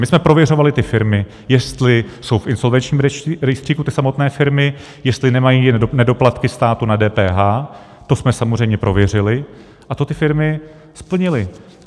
My jsme prověřovali ty firmy, jestli jsou v insolvenčním rejstříku, ty samotné firmy, jestli nemají nedoplatky státu na DPH, to jsme samozřejmě prověřili a to ty firmy splnily.